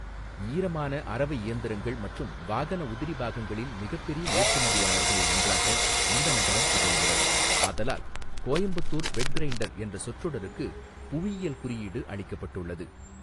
ஈரமான அரவை இயந்திரங்கள் மற்றும் வாகன உதிரி பாகங்களின் மிகப்பெரிய ஏற்றுமதியாளர்களில் ஒன்றாக இந்த நகரம் திகழ்கிறது ஆதலால் 'கோயம்புத்தூர் வெட் கிரைண்டர்' என்ற சொற்றொடருக்கு புவியியல் குறியீடு அளிக்கப்பட்டுள்ளது.